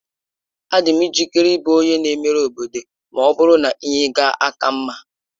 Adị m njikere ịbụ onye na-emere obodo ma ọ bụrụ na ihe ga-aka mma.